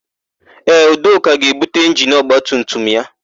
Ee, Udoka ga-ebute injini ọgbatumtum ya.